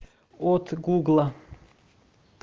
от гугла